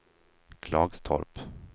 Klagstorp